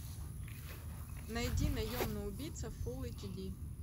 найди наемный убийца фул эйч ди